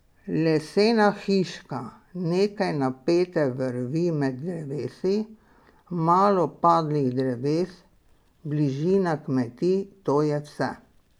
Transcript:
Lesena hiška, nekaj napete vrvi med drevesi, malo padlih dreves, bližina kmetij, to je vse.